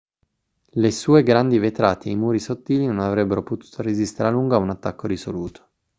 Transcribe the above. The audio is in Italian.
le sue grandi vetrate e i muri sottili non avrebbero potuto resistere a lungo a un attacco risoluto